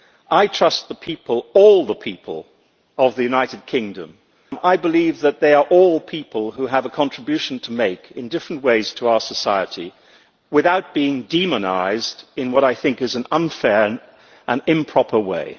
I trust the people, all the people, of the United Kingdom. I believe that they are all people who have a contribution to make in different ways to our society without being demonised in an unfair and improper way.